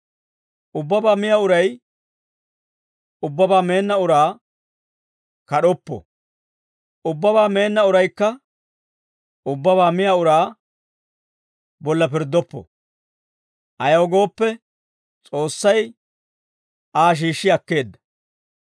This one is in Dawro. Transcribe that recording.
Ubbabaa miyaa uray ubbabaa meenna uraa kad'oppo; ubbabaa meenna uraykka ubbabaa miyaa uraa bolla pirddoppo. Ayaw gooppe, S'oossay Aa shiishshi akkeedda.